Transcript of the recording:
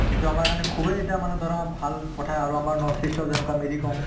যিটো আমাৰ কাৰণে খুবেই এটা মানে ধৰা ভাল কথা আৰু আমাৰ north-east ৰ যেনেকুৱা মেৰী কম